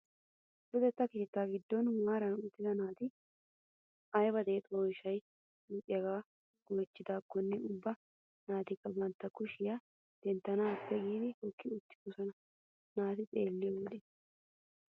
Luxetta keettaa giddon maarara uttida naata ayba deexxiyaa oyshshaa luxissiyaagee oychcidaakonne ubba naatikka bantta kushiyaa denttanaappe giidi hokki uttidosona naata xeelliyoo wode.